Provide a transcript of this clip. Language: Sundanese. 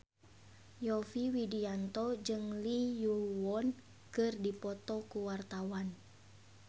Yovie Widianto jeung Lee Yo Won keur dipoto ku wartawan